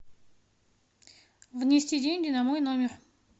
внести деньги на мой номер